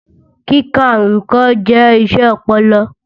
Kíka nnkàn jẹ́ iṣẹ́ ọpọlọ.